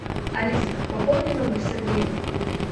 алиса пополни номер сергея